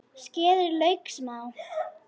Skerið lauk smátt.